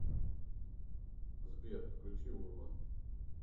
сбер включи урбан